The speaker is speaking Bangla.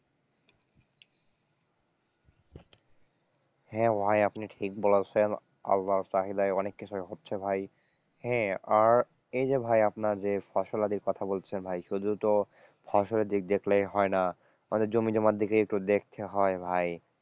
হ্যাঁ ভাই আপনি ঠিক বলেছেন আল্লার চাহিদায় অনেক কিছুই হচ্ছে ভাই, হ্যাঁ আর এই যে ভাই আপনার যে ফসলাদির কথা বলছেন ভাই শুধু তো ফসলের দিক দেখলেই হয় না, হয়তো জমি জমার দিকে একটু দেখতে হয়।